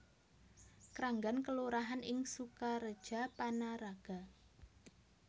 Kranggan kelurahan ing Sukareja Panaraga